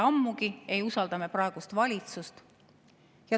Ammugi ei usalda me praegust valitsust.